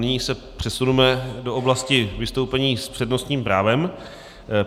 Nyní se přesuneme do oblasti vystoupení s přednostním právem.